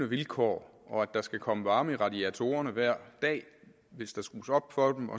vilkår og at der skal komme varme i radiatorerne hver dag hvis der skrues op for dem